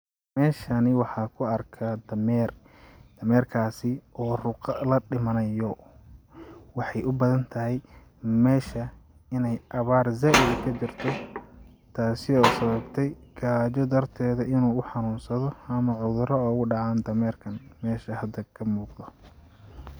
Meshani waxaa kuarkaa dhameer dhamerkaasi oo ruqa la dhimanayo waxay u badan tahay mesha inay abaar zaid kajirto taasi oo sababtey gaaja dharteeda inuu u xanun sado ama cudurdo oogu dhacaan dhameerkan mesha hada ka muqdo.